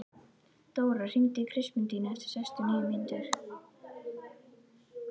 Dóra, hringdu í Kristmundínu eftir sextíu og níu mínútur.